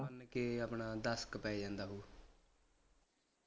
ਮੰਨ ਕਿ ਆਪਣਾ ਦਸ ਕਿ ਪੈ ਜਾਂਦਾ ਹੂ